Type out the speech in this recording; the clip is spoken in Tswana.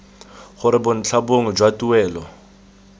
gore bontlha bongwe jwa tuelo